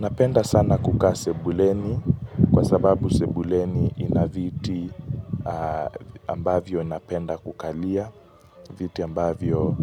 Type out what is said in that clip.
Napenda sana kukaa sebuleni kwa sababu sebuleni ina viti ambavyo napenda kukalia Viti ambavyo